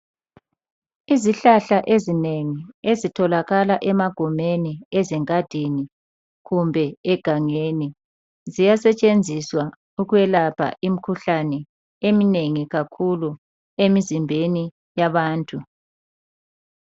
Izihlahla ezinengi ezitholakala emagumeni, ezingadini kumbe egangeni ziyasetshenziswa ukwelapha imkhuhlane eminengi kakhulu emizimbeni yabantu.